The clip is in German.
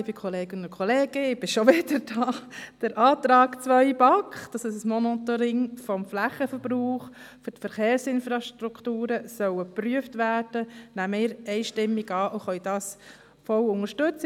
Den Antrag 2 der BaK betreffend das Monitoring des Flächenverbrauchs, wodurch Verkehrsinfrastrukturen geprüft werden sollen, nehmen wir einstimmig an und können dies vollumfänglich unterstützen.